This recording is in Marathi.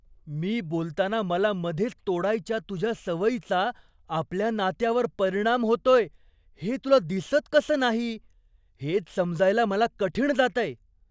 मी बोलताना मला मधेच तोडायच्या तुझ्या सवयीचा आपल्या नात्यावर परिणाम होतोय हे तुला दिसत कसं नाही, हेच समजायला मला कठीण जातंय.